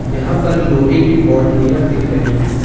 यहां पर लोहे की बाउंड्रिया दिख रही है।